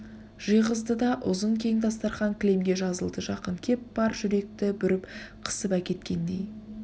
жиғыздыда ұзын кең дастарқан кілемге жазылды жақын кеп бар жүректі бүріп қысып әкеткендей